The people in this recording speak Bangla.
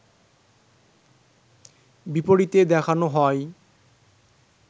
বিপরীতে দেখানো হয়